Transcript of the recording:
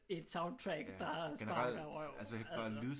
Et soundtrack der sparker røv altså